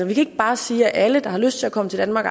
vi kan ikke bare sige at alle der har lyst til at komme til danmark